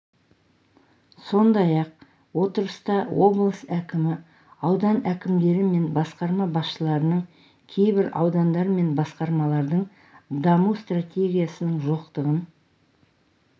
сондай-ақ отырыста облыс әкімі аудан әкімдері мен басқарма басшыларының кейбір аудандар мен басқармалардың даму стратегиясының жоқтығын